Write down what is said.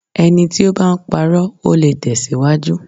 Ẹni tí o bá ń parọ́, ò le tẹ̀síwájú.